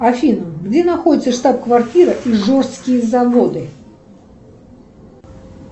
афина где находится штаб квартира ижорские заводы